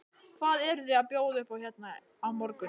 Hvað eruð þið að bjóða upp á hérna á morgun?